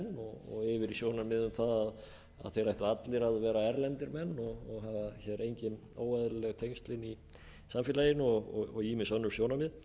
og yfir í sjónarmið um það að þeir ættu allir að vera erlendir menn og hafa hér engin óeðlileg tengsl inni í samfélaginu og ýmis önnur sjónarmið